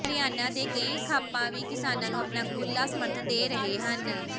ਹਰਿਆਣਾ ਦੇ ਕਈ ਖਾਪਾਂ ਵੀ ਕਿਸਾਨਾਂ ਨੂੰ ਆਪਣਾ ਖੁੱਲ੍ਹਾ ਸਮਰਥਨ ਦੇ ਰਹੇ ਹਨ